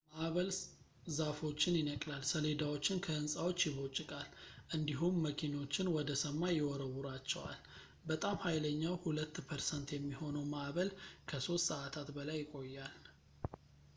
ማእበል ዛፎችን ይነቅላል ሰሌዳዎችን ከሕንፃዎች ይቦጭቃል እንዲሁም መኪኖችን ወደ ሰማይ ይወረውራቸዋል በጣም ሀይለኛው ሁለት ፐርሰንት የሚሆነው ማእበል ከሶስት ሰዓታት በላይ ይቆያል